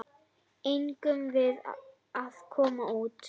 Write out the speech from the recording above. Eigum við að koma út?